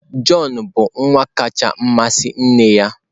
Jọn bụ nwa kacha amasị nne ya.